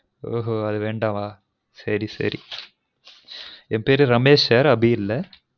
ஒஹொ அது வேண்டவா சரி சரி என் பேரு ரமெஷ் sir அபி இல்ல